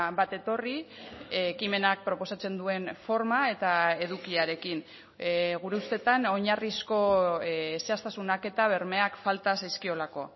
bat etorri ekimenak proposatzen duen forma eta edukiarekin gure ustetan oinarrizko zehaztasunak eta bermeak falta zaizkiolako